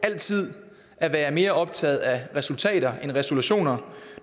altid at være mere optaget af resultater end resolutioner